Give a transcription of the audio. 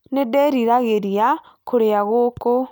Nĩ ndĩririgĩria kũrĩa ngũkũ